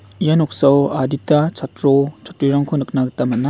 ia noksao adita chatro chatrirangko nikna gita man·a.